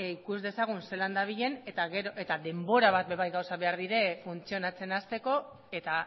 ikus dezagun zelan dabilen eta denbora bat ere bai behar dira gauzak funtzionatzen hasteko eta